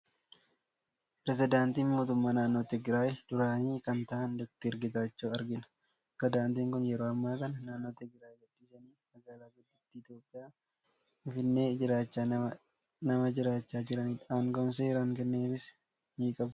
Piresidaantii mootummaa naannoo Tigiraayi duraanii kan ta'an, Dookter Getaachoo argina. Piresidaantiin kun yeroo ammaa kana naannoo Tigiraayi gadhiisanii magaala guddittii Itoophiyaa, Finfinnee jiraachaa nama jiraachaa jiranidha. Aangoo seeraan kennameefiis ni qabu.